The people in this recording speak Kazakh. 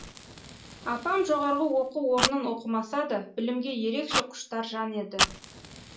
апам жоғарғы оқу орнын оқымаса да білімге ерекше құштар жан еді